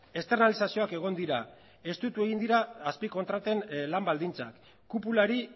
externalizazioak egon dira estutu egin dira azpikontraten lan baldintzak kupulari